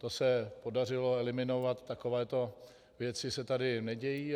To se podařilo eliminovat, takovéto věci se tady nedějí.